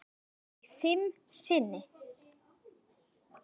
Eiga þau fimm syni.